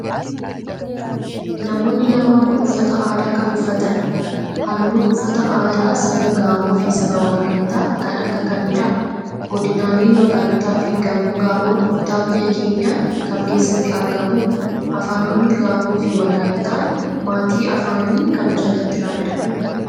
Namoonni lamaan kun, uffata aadaa kamii uffatan? Haalluun uffata aadaa saba gaamoo fi saba walaayittaa kan akka kamii dha? Godinaaleen Walaayittaa fi gaamoon kutaa biyya keenyaa kam keessatti argamu? Afaanonni Gaamoo fi walaayittaan maatii faanii kam jalatti ramadamu?